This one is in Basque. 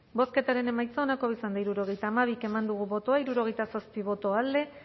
bozketaren emaitza onako izan da hirurogeita hamabi eman dugu bozka hirurogeita zazpi boto alde